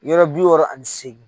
Yɔrɔ bi wɔɔrɔ ani seegin.